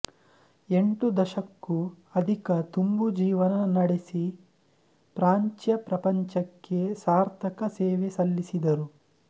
ಎಂಟು ದಶಕ್ಕೂ ಅಧಿಕ ತುಂಬು ಜೀವನ ನಡೆಸಿ ಪ್ರಾಚ್ಯ ಪ್ರಪಂಚಕ್ಕೆ ಸಾರ್ಥಕ ಸೇವೆ ಸಲ್ಲಿಸಿದರು